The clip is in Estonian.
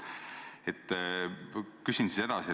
Küsin siis edasi.